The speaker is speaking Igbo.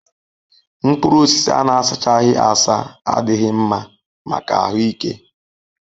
Mkpụrụ osisi a na-asachaghị asa adịghị mma maka ahụ ike